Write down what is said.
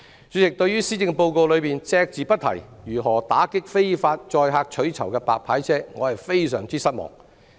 主席，對於施政報告隻字不提如何打擊非法載客取酬的"白牌車"，我感到非常失望。